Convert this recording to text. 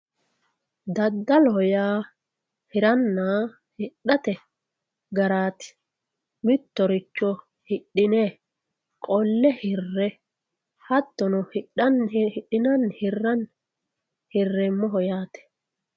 daddaloho yaa hiranna hidhate garaati mittoricho hidhine qolle hirranni hattono hidhinanni hirranni hirreemmoho yaate.